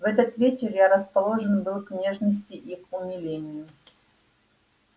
в этот вечер я расположен был к нежности и к умилению